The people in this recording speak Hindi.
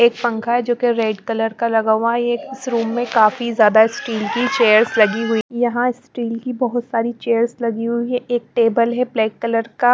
एक पंखा है जो कि रेड कलर का लगा हुआ है ये इस रूम में काफी ज्यादा स्टील की चेयर्स लगी हुई यहां स्टील की बहुत सारी चेयर्स लगी हुई है एक टेबल है ब्लैक कलर का--